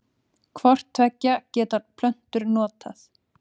Hvort tveggja geta plöntur notað.